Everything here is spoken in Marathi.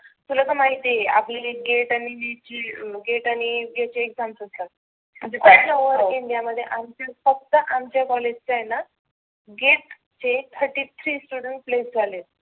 तुला तर माहिती आहे आपले जे gate आणि gate चे exams असतात. all over India मध्ये आमचेच फक्त आमच्या कॉलेज चे आहेना gate चे therty three students placed झालेत.